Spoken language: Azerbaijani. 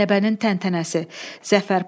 Qələbənin təntənəsi, Zəfər paradı.